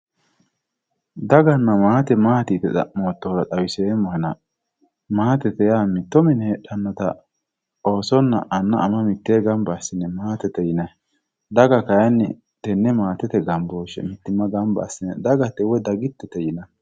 Daganna maate maati yite xa'mottotera xawiseemmohenna maatete yaa mitto mine heedhanotta oosonna anna ama mitteenni gamba assine maatete yinnanni, daga kayinni tene maatete gamboshe gamba assine dagate woyi dagitete yinnanni.